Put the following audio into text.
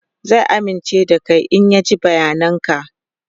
zai amince da Kai in ya ji bayanan ka